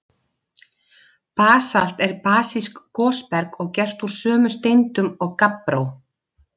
Basalt er basískt gosberg og gert úr sömu steindum og gabbró.